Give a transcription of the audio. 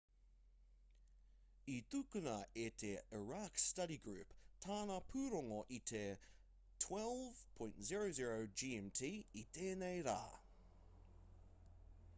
i tukuna e te iraq study group tāna pūrongo i te 12.00 gmt i tēnei rā